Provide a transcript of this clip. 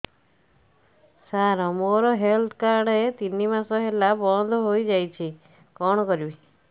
ସାର ମୋର health card ତିନି ମାସ ହେଲା ବନ୍ଦ ହେଇଯାଇଛି କଣ କରିବି